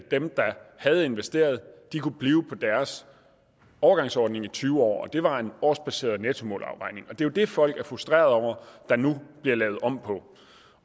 at dem der havde investeret kunne blive på deres overgangsordning i tyve år det var en årsbaseret nettomåleafregning og det er jo det folk er frustreret over der nu bliver lavet om på